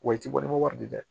Wa i t'i bɔ ni wari di dɛ